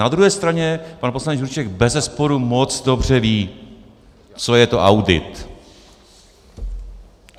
Na druhé straně pan poslanec Juříček bezesporu moc dobře ví, co je to audit.